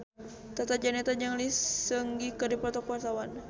Tata Janeta jeung Lee Seung Gi keur dipoto ku wartawan